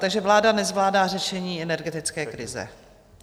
Takže Vláda nezvládá řešení energetické krize.